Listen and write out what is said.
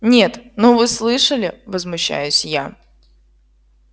нет ну вы слышали возмущаюсь я